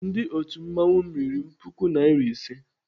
Ndị otu mmanwụ m riri m puku nari ise.